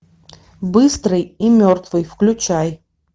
быстрый и мертвый включай